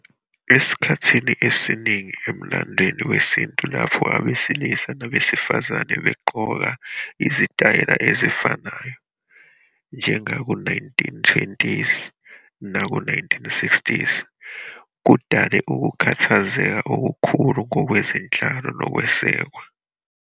Esikhathini esiningi emlandweni wesintu lapho abesilisa nabesifazane begqoka izitayela ezifanayo, njengaku-1920s naku-1960s, kudale ukukhathazeka okukhulu kwezenhlalo nokwesekwa.